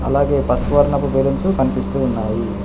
అలాగే పసుపు వర్ణపు బెలూన్సు కనిపిస్తూ ఉన్నాయి.